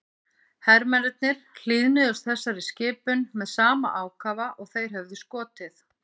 Hermennirnir hlýðnuðust þessari skipun með sama ákafa og þeir höfðu skotið.